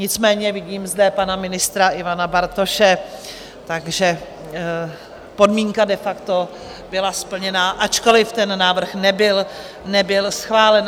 Nicméně vidím zde pana ministra Ivana Bartoše, takže podmínka de facto byla splněna, ačkoliv ten návrh nebyl schválen.